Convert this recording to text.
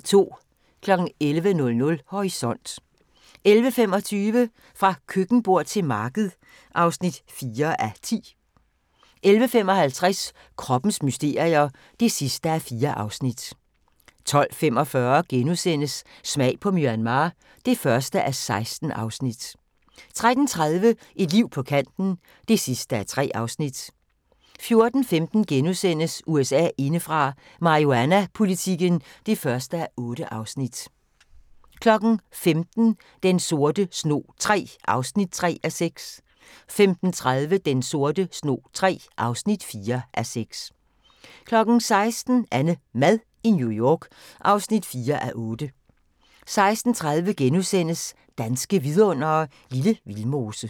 11:00: Horisont 11:25: Fra køkkenbord til marked (4:10) 11:55: Kroppens mysterier (4:4) 12:45: Smag på Myanmar (1:16)* 13:30: Et liv på kanten (3:3) 14:15: USA indefra: Marihuanapolitikken (1:8)* 15:00: Den sorte snog III (3:6) 15:30: Den sorte snog III (4:6) 16:00: AnneMad i New York (4:8) 16:30: Danske Vidundere: Lille Vildmose *